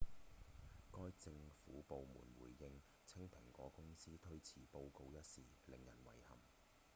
該政府部門回應稱蘋果公司推遲報告一事「令人遺憾」